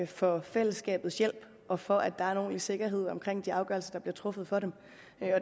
for fællesskabets hjælp og for at der er en ordentlig sikkerhed omkring de afgørelser der bliver truffet for dem